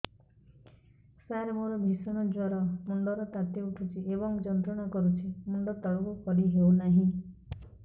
ସାର ମୋର ଭୀଷଣ ଜ୍ଵର ମୁଣ୍ଡ ର ତାତି ଉଠୁଛି ଏବଂ ଯନ୍ତ୍ରଣା କରୁଛି ମୁଣ୍ଡ ତଳକୁ କରି ହେଉନାହିଁ